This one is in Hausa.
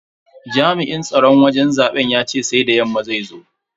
Jami'in tsaron wajen zaben yace sai da yamma zai zo.